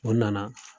O nana